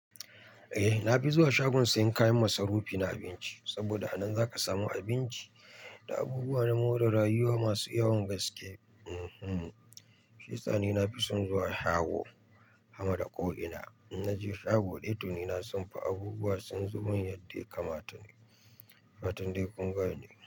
Eh na fi zuwa shagon sayan kayan masarufi na abinci saboda a nan zaka samu abinci da abubuwa na more rayuwa masu yawan gaske. Shiyasa ni nafi son zuwa shago, sama da ko ina. In naje shago, dai to ni abubuwa sun zomin yadda ya kamata. Fatan dai kun gane.